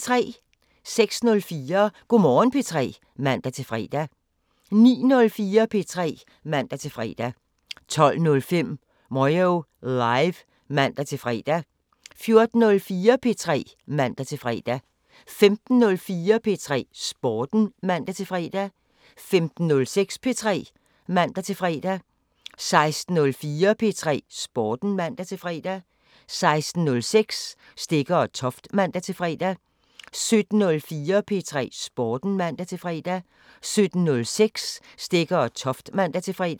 06:04: Go' Morgen P3 (man-fre) 09:04: P3 (man-fre) 12:05: Moyo Live (man-fre) 14:04: P3 (man-fre) 15:04: P3 Sporten (man-fre) 15:06: P3 (man-fre) 16:04: P3 Sporten (man-fre) 16:06: Stegger & Toft (man-fre) 17:04: P3 Sporten (man-fre) 17:06: Stegger & Toft (man-fre)